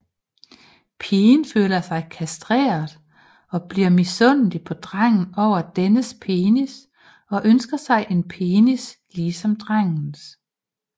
Pigen føler sig kastreret og bliver misundelig på drengen over dennes penis og ønsker sig en penis ligesom drengens